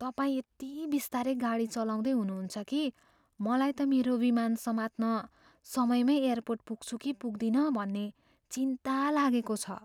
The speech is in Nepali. तपाईँ यति बिस्तारै गाडी चलाउँदै हुनुहुन्छ कि मलाई त मेरो विमान समात्न समयमै एयरपोर्ट पुग्छु कि पुग्दिन भन्ने चिन्ता लागेको छ।